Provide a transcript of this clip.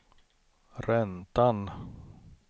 räntan